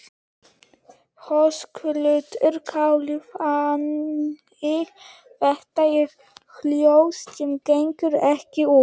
Höskuldur Kári: Þannig þetta eru hjól sem gengu ekki út?